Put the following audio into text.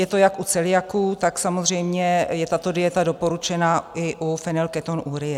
Je to jak u celiaků, tak samozřejmě je tato dieta doporučená i u fenylketonurie.